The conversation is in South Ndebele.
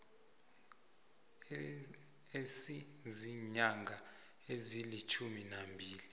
esiziinyanga ezilitjhumi nambili